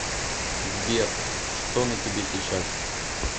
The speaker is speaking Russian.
сбер что на тебе сейчас